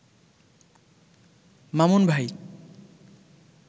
মামুন ভাই